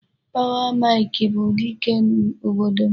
Power Mike bụ dike obodo m.